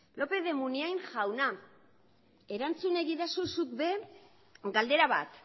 lópez de munain jauna erantzun egidazu zuk ere bai galdera bat